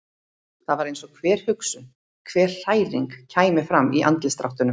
Það var eins og hver hugsun, hver hræring kæmi fram í andlitsdráttunum.